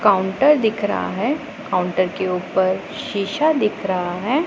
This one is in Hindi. काउंटर दिख रहा है काउंटर के ऊपर शीशा दिख रहा है।